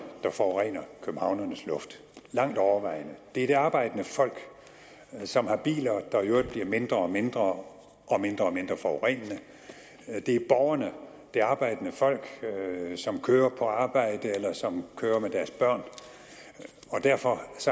der forurener københavnernes luft langt overvejende det er det arbejdende folk som har biler der i øvrigt bliver mindre og mindre og mindre og mindre forurenende det er borgerne det arbejdende folk som kører på arbejde eller som kører med deres børn og derfor